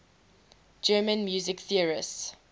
german music theorists